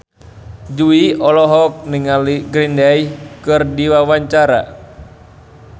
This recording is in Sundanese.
Jui olohok ningali Green Day keur diwawancara